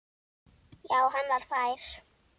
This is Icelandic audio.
Já, hann var fær!